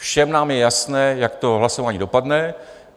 Všem nám je jasné, jak to hlasování dopadne.